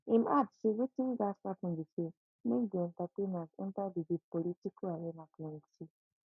im add say wetin gatz happun be say make di entertainers enta di di political arena plenty